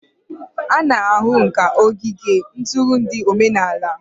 A na-ahụ ǹkà n'ogige ntụrụndụ omenala